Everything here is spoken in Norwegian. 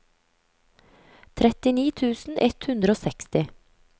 trettini tusen ett hundre og seksti